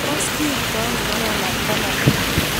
tos kiibtano korona banandit?